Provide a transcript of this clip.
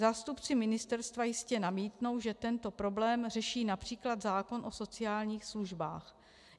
Zástupci ministerstva jistě namítnou, že tento problém řeší například zákon o sociálních službách.